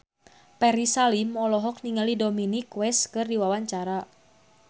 Ferry Salim olohok ningali Dominic West keur diwawancara